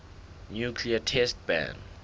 nuclear test ban